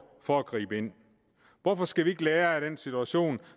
for at gribe ind hvorfor skal vi ikke lære af den situation